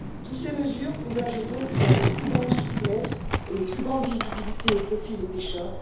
Toutes ces mesures convergent donc vers une plus grande souplesse et une plus grande visibilité au profit des pêcheurs.